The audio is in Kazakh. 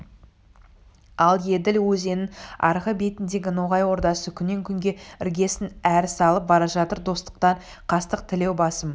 ал еділ өзенінің арғы бетіндегі ноғай ордасы күннен-күнге іргесін әрі салып бара жатыр достықтан қастық тілеуі басым